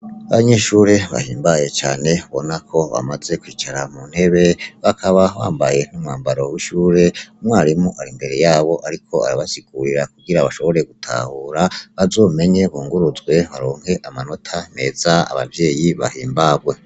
Abanyeshuri bahimbaye cane ubona ko bamaze kwicara mu ntebe bakaba bambaye umwambara wishure umwarimu ari imbere yabo ariko arabasigurira kugirango bashobore gutahura bazomenye bunguruzwe baronke amanota meza abavyeyi bahimbarwe.